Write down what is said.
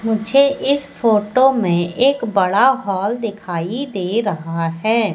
मुझे इस फोटो में एक बड़ा हॉल दिखाइ दे रहा हैं।